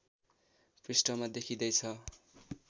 पृष्ठमा देखिँदै छ